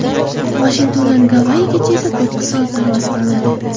Vashingtondan Gavayigacha esa to‘qqiz soat parvoz qilinadi.